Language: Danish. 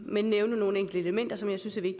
men nævne nogle enkelte elementer som jeg synes er